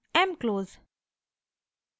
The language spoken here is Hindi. mclose